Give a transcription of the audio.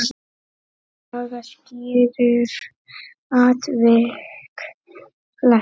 Saga skýrir atvik flest.